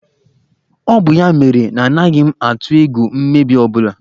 Ọ bụ ya mere na anaghị m atụ egwu mmebi ọ bụla